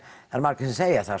margir segja það